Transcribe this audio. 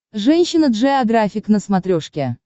женщина джеографик на смотрешке